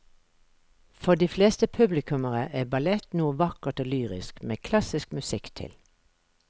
For de fleste publikummere er ballett noe vakkert og lyrisk med klassisk musikk til.